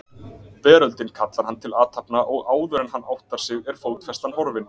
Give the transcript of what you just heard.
Veröldin kallar hann til athafna og áðuren hann áttar sig er fótfestan horfin.